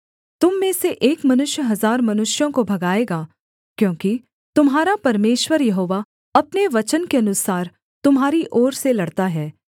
तुम में से एक मनुष्य हजार मनुष्यों को भगाएगा क्योंकि तुम्हारा परमेश्वर यहोवा अपने वचन के अनुसार तुम्हारी ओर से लड़ता है